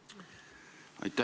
Aitäh!